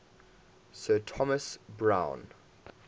sir thomas browne